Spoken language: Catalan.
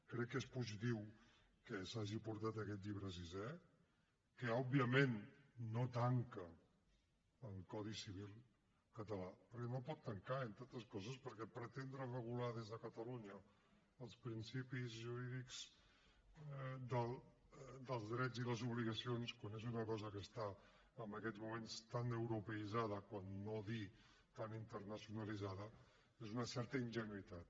crec que és positiu que s’hagi portat aquest llibre sisè que òbviament no tanca el codi civil català perquè no el pot tancar entre altres coses perquè pretendre regular des de catalunya els principis jurídics dels drets i les obligacions quan és una cosa que està en aquests moments tan europeïtzada per no dir tan internacionalitzada és d’una certa ingenuïtat